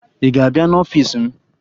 Ị ga-abịa n'ọfiisi m?